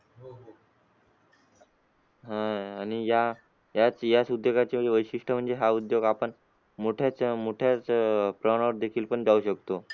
अह आणि या याच याच उद्योगाचे वैशिष्ट्य म्हणजे हा उद्योगात आपण मोठ्यात मोठ्या प्रमाणावर देखील पण जाऊ शकतो.